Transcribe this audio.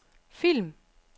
film